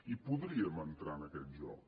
i podríem entrar en aquest joc